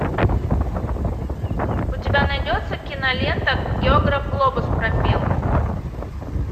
у тебя найдется кинолента географ глобус пропил